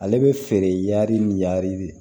Ale bɛ feere yari ni yari de